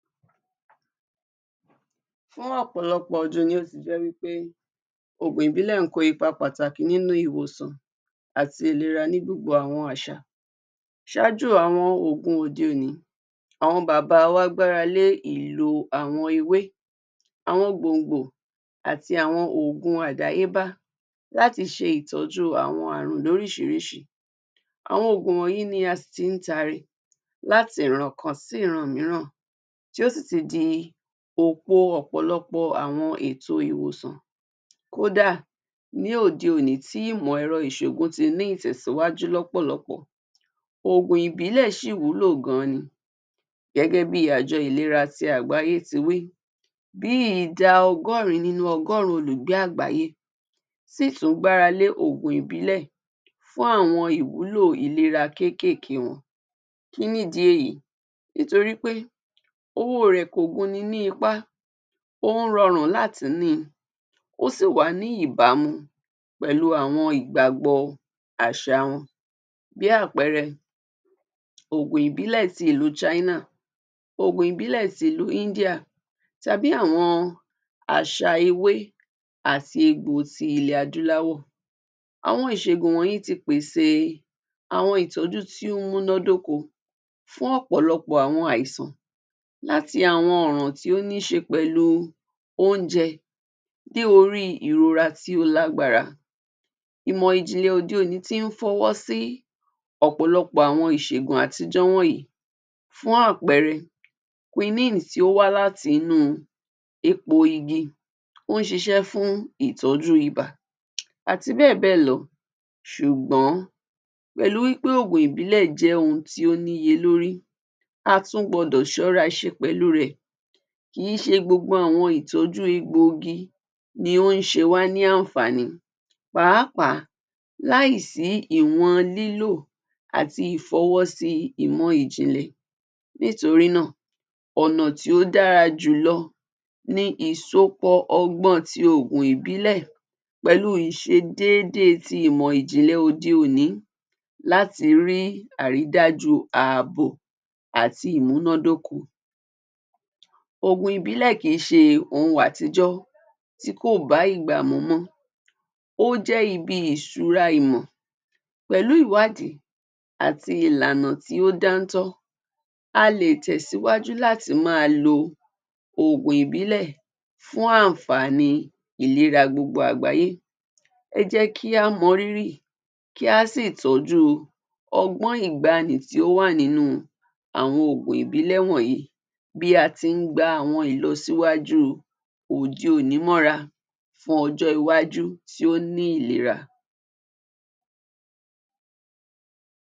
Fún ọ̀pọ̀lọpọ̀ ọdún ni ó ti jẹ́ wí pé òògùn ìbílẹ̀ ń kọ́ ipa pàtàki nínú ìwòsàn àti ìlera ni gbogbo àwọn àṣà. Ṣáájú àwọn òògùn òde òní, àwọn bàbà wa gbára lé ìlò àwọn ewé, àwọn gbòǹgbò àti àwọn òògùn àdáyébá láti ṣe ìtọ́jú àwọn àrùn lóríṣiriíṣi. Àwọn òògùn wọ̀nyí la sì tí ń tari láti ìran kan títí sí ìran mìíràn, tí ó sì ti di òpo ọ̀pọ̀lọpọ̀ àwọn ètò ìwòsàn kódà, ní òde òní tí ìmọ̀ èrọ isògùn tí ni ìtẹ̀síwaju lọpọlọpọ, òògùn ìbílẹ̀ ṣí wúlò gàn án ní. Gẹ́gẹ́ bi àjọ ìlera àgbáyé tí wí, bí ìda ọgọrín nínú ọgọ́rùn-ún olùgbé àgbáyé sì tún gbára lé òògùn ìbílẹ̀ fún àwọn ìwúlò ìlera kèkéké wọn. Kí ni ìdí èyí? Nítorí pé owó rẹ kò gún ní ní ipá, ó rọrùn láti ni í, ó sì wá ní ìbámu pẹ̀lú àwọn ìgbàgbọ́ àṣà wọn. Bí àpẹẹrẹ, oògùn ìbílè tí àwọn China, òògùn ìbílẹ̀ tí àwọn India tàbí àwọn àṣà ewé àti àwọn egbò tí ilè adúláwò. Àwọn ìṣẹ́gun yìí ti í pèsè àwọn ìtọ́jú tó múná dóko fún ọpọlọpọ àìsàn àti àwọn àrùn tí ó ní ṣe pẹ̀lú oúnjẹ tí ó ní ìrora tí ó lágbára, ìmò ìjìnlè òde òní tí ń fọwọ́ sì ọ̀pọ̀lọpọ̀ àwọn ìṣẹ́gun àtijó wọ̀nyí fún àpẹẹrẹ Quine tó wà láti inú egbò igi ó ṣíṣe fún ìtọ́jú ibà àti bẹ́ẹ̀ bẹ́ẹ̀ lọ. Ṣùgbọ́n, pẹ̀lú bí òògùn ìbílẹ̀ ṣe jẹ́ òhun tó wù ni lórí, a tún gbọdọ ṣọ́ra ṣe pẹ̀lú rẹ, kìí ṣe gbogbo àwọn ìtọ́jú egbò igi ni ó ṣe wá ní àǹfààní pàápàá láì sí ìwọ̀n lílo àti ifowó sí imọ ìjìnlè. Nítorí náà, ọnà tí ó dára jù lọ ní ìsopọ̀ ọgbọ́n tí oògùn ìbílẹ̀ pẹ̀lú ìṣe déédéé tí imọ ìjìnlè tòde òní, láti rí àrìdájú àbọ̀ àti ìmúnádóko. Òògùn ìbílẹ̀ kii se ohun àtijó tí kò bá ìgbà mú mọ, ó jé ibi ìṣúra ìmọ̀. Pẹ̀lú ìwádìí, àti ìlànà tí ó dántọ́, a lè tẹ síwájú láti máa lo òògùn ìbílẹ̀ fún àǹfààní ìlera gbogbo àgbáyé. Ẹ jẹ́ kí á mọ rírì, kí a sì tọju ú ọgbọ́n ìgbàanì tí ó wà nínú àwọn òògùn ìbílẹ̀ wọ̀nyí bí a ti ń gba àwọn ìlọsíwájú òde òní mọ́ra fún ọjọ́ iwájú tó ní ìlera.